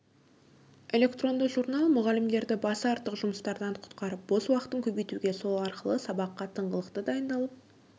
электронды журнал мұғалімдерді басы артық жұмыстардан құтқарып бос уақытын көбейтуге сол арқылы сабаққа тыңғылықты дайындалып